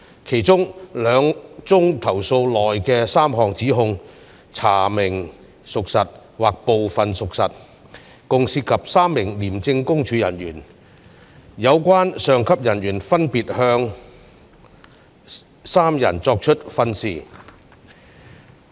其中兩宗投訴內的3項指控查明屬實或部分屬實，共涉及3名廉政公署人員，有關上級人員分別向3人作出訓示。